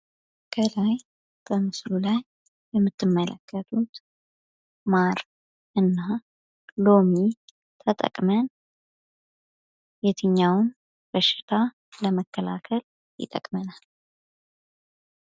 ከላይ በምስሉ ላይ የምትመለከቱት ማርና ሎሚ ተጠቅመን የትኛውን በሽታ ለመከላከል ይጠቅመናል?